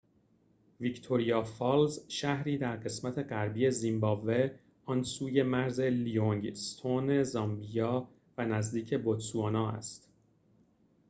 ویکتوریا فالز شهری در قسمت غربی زیمبابوه آن سوی مرز لیوینگ‌استون زامبیا و نزدیک بوتسوانا است